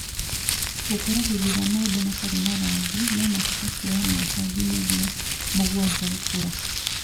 gũkũra hĩndĩ ĩrĩa maembe matarĩ na rangi nomahote kwoya mĩaka nginyagia mũgwanja gũkũra